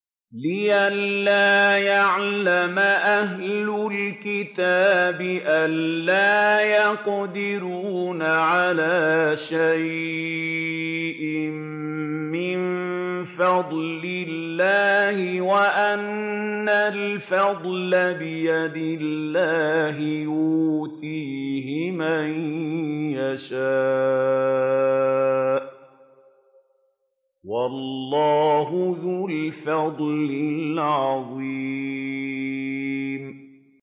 لِّئَلَّا يَعْلَمَ أَهْلُ الْكِتَابِ أَلَّا يَقْدِرُونَ عَلَىٰ شَيْءٍ مِّن فَضْلِ اللَّهِ ۙ وَأَنَّ الْفَضْلَ بِيَدِ اللَّهِ يُؤْتِيهِ مَن يَشَاءُ ۚ وَاللَّهُ ذُو الْفَضْلِ الْعَظِيمِ